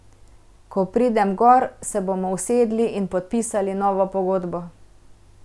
Ko pridem gor, se bomo usedli in podpisali novo pogodbo.